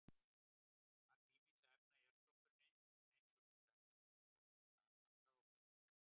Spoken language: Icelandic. Magn ýmissa efna í jarðskorpunni eins og til dæmis fosfórs er takmarkað og fer minnkandi.